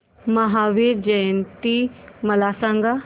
महावीर जयंती मला सांगा